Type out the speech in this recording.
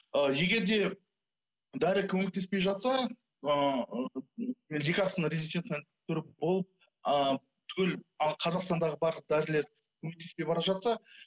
ы егер де дәрі көмектеспей жатса ыыы лекарственно резистентная болып ы түгел ы қазақстандағы барлық дәрілер көмектеспей бара жатса